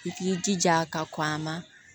I k'i jija ka kɔn a ma